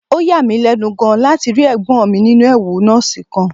Ó yà mí lẹ́nu gan-an láti rí ẹ̀gbọ́n mi nínú ẹ̀wù nọ́ọ̀sì kan